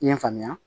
I ye n faamuya